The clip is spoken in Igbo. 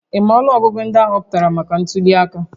Ị ma ọnụọgụgụ ndị a họpụtara maka ntuliaka?